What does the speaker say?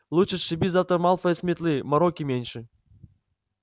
лучше сшиби завтра малфоя с метлы мороки меньше